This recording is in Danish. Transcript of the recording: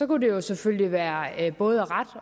kunne det selvfølgelig være både ret